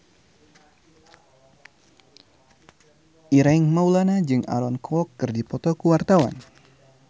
Ireng Maulana jeung Aaron Kwok keur dipoto ku wartawan